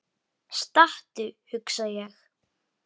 Stattu, hugsa ég.